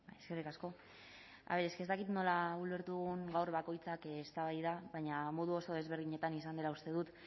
eskerrik asko a ver es que ez dakit nola ulertu dugun gaur bakoitzak eztabaida baina modu desberdinetan izan dela uste dut